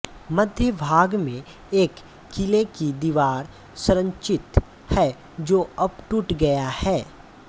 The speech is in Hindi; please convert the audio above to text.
मध्य भाग में एक किले की दीवार संरचित है जो अब टूट गया है